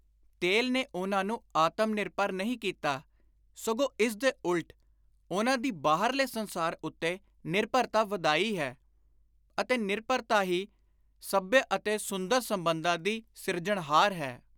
ਤੇਲ ਨੇ ਉਨ੍ਹਾਂ ਨੂੰ ਆਤਮ ਨਿਰਭਰ ਨਹੀਂ ਕੀਤਾ, ਸਗੋਂ ਇਸ ਦੇ ਉਲਟ ਉਨ੍ਹਾਂ ਦੀ ਬਾਹਰਲੇ ਸੰਸਾਰ ਉੱਤੇ ਨਿਰਭਰਤਾ ਵਧਾਈ ਹੈ ਅਤੇ ਨਿਰਭਰਤਾ ਹੀ ਸੱਭਿਅ ਅਤੇ ਸੁੰਦਰ ਸੰਬੰਧਾਂ ਦੀ ਸਿਰਜਣਹਾਰ ਹੈ।